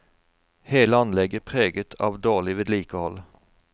Hele anlegget preget av dårlig vedlikehold.